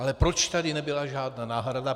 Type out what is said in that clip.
Ale proč tu nebyla žádná náhrada?